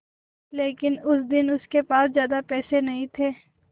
लेकिन उस दिन उसके पास ज्यादा पैसे नहीं थे